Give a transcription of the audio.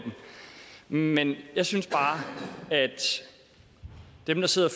den men jeg synes bare at dem der sidder